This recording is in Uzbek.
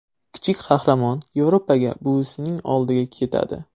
Kichik qahramon Yevropaga, buvisining oldiga ketadi.